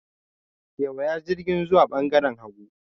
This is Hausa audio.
Kewaya jirgin zuwa ɓangaren hagu.